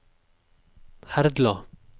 Herdla